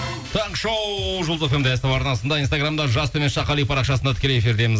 таңғы шоу жұлдыз фм де ств арнасында инстаграмда жас қали парақшасында тікелей эфирдеміз